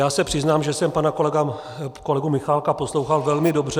Já se přiznám, že jsem pana kolegu Michálka poslouchal velmi dobře.